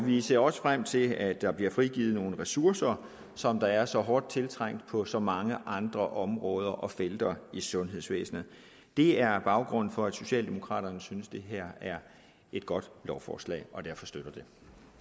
vi ser også frem til at der bliver frigivet nogle ressourcer som er så hårdt tiltrængte på så mange andre områder og felter i sundhedsvæsenet det er baggrunden for at socialdemokraterne synes det her er et godt lovforslag og derfor støtter det